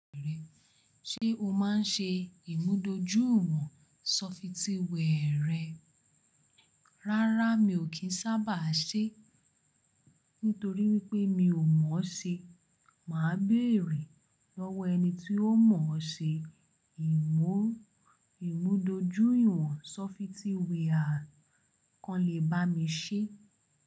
Ṣé o máa ń ṣe ìmúdójúìwọ̀n sọfití wẹẹrẹ? Rárá mi ò kín sábà ṣe, nítorí wípé mi ò mọ̀ ọ́ ṣe. Mà á béèrè lọ́wọ́ ẹni tí ó mọ̀ ọ́ ṣe ìmú-ìmúdójúìwọ̀n sọfití wẹ́ẹ̀rẹ̀ kan lè bá mi ṣe.